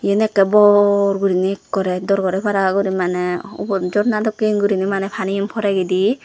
yan ekke bor gurine ekkere dor gore para guri para mane ubot jorna dokke gurine mane paniyan poregide.